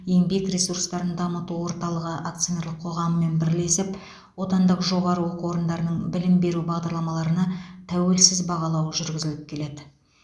еңбек ресурстарын дамыту орталығы акционерлік қоғамымен бірлесіп отандық жоғары оқу орындарының білім беру бағдарламаларына тәуелсіз бағалау жүргізіліп келеді